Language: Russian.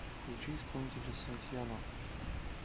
включи исполнителя сантиано